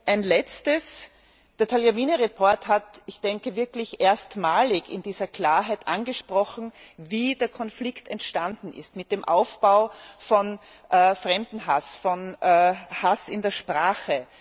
Ein Letztes Der Bericht Tagliavini hat wirklich erstmalig in dieser Klarheit angesprochen, wie der Konflikt entstanden ist, mit dem Aufbau von Fremdenhass, von Hass in der Sprache.